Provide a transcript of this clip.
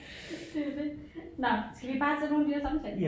Det jo det nåh skal vi bare tage nogle af de der samtale